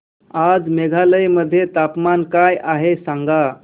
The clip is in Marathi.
आज मेघालय मध्ये तापमान काय आहे सांगा